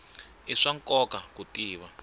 i swa nkoka ku tiva